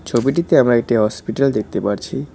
ছবিটিতে আমরা একটি হসপিটাল দেখতে পারছি।